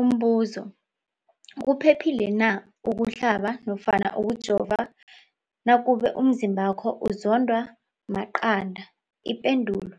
Umbuzo, kuphephile na ukuhlaba nofana ukujova nakube umzimbakho uzondwa maqanda. Ipendulo,